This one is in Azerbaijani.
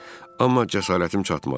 Amma cəsarətim çatmadı.